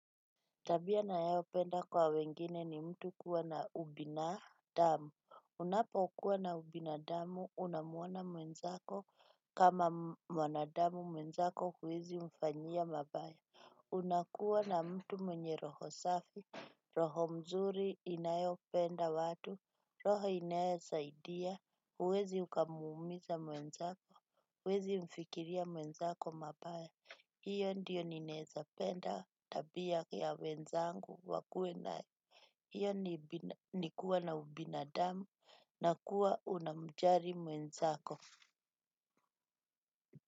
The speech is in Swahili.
Tabia na yao penda kwa wengine ni mtu kuwa na ubinadamu. Unapo kuwa na ubinadamu, unamuona mwenzako kama mwanadamu mwenzako huwezi mfanyia mabaya. Unakuwa na mtu mwenye roho safi, roho mzuri inayo penda watu, roho inaesaidia. Kuwezi ukamuumiza mwenzako, kuwezi mfikiria mwenzako mabaya. Iyo ndiyo nineza penda tabia ya wenzangu wakue nayo nikuwa na ubinadamu na kuwa unamjari mwenzako.